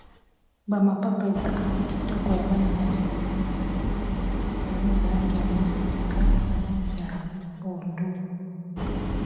Ba mapapa eza awa kitoko ya bana basi eza mibale eza na langi ya moseka na langi ya pondu.